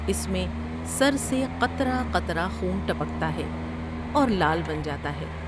اس میں سر سے قطر ہ قطرہ خون ٹپکتا ہے اورلعل بن جا تا ہے ۔